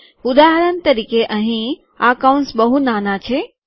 ઉદાહરણ તરીકે અહીં આ કૌંસ બહુ નાના છે